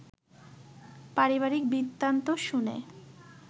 পারিবারিক বৃত্তান্ত শুনে